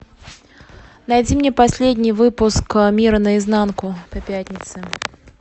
найди мне последний выпуск мира на изнанку по пятницам